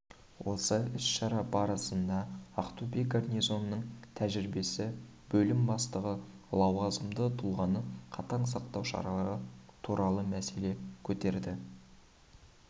осы іс-шара барысында ақтөбе гарнизонының тәжірибесі бөлім бастығы лауазымды тұлғаны қатаң сақтау шаралары туралы мәселе көтерді